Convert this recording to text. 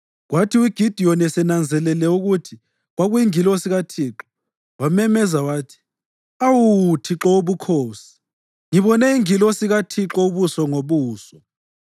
Kwathi uGidiyoni esenanzelele ukuthi kwakuyingilosi kaThixo, wamemeza wathi, “Awu, Thixo Wobukhosi! Ngibone ingilosi kaThixo ubuso ngobuso!”